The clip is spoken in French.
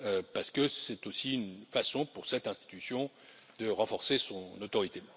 parce que c'est aussi une façon, pour cette institution, de renforcer son autorité.